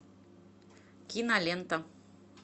кинолента